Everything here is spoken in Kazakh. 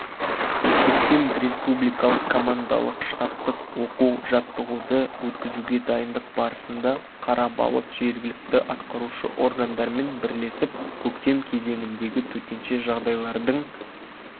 көктем республикалық командалық-штабтық оқу-жаттығуды өткізуге дайындық барысында қарабалық жергілікті атқарушы органдармен бірлесіп көктем кезеңіндегі төтенше жағдайлардың